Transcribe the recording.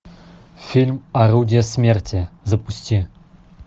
фильм орудие смерти запусти